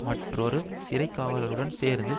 மற்றொரு சிறை காவலருடன் சேர்ந்து